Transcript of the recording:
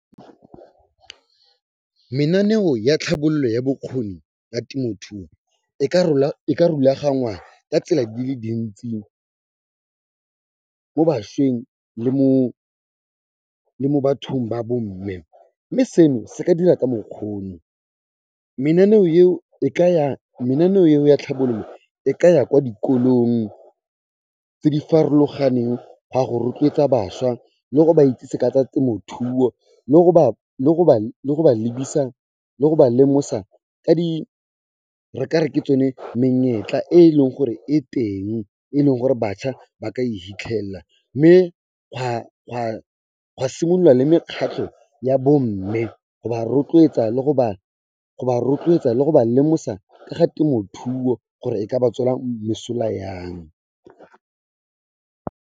Menaneo ya tlhabollo ya bokgoni ya temothuo, e ka rulaganngwa ka tsela dile dintsi mo bašweng le mo bathong ba bomme. Mme seno se ka dira ka mokgw'ono, menaneo yeo ya tlhabololo, e ka ya kwa dikolong tse di farologaneng gwa go rotloetsa bašwa le go ba itsise ka tsa temothuo le go ba lemosa ka di, re kare ke tsone menyetla e leng gore e teng, e leng gore batšha ba ka e hitlhella mme gwa simololwa le mekgatlho ya bo mme, go ba rotloetsa le go ba lemosa ka ga temothuo gore e ka ba tswela mosola yang.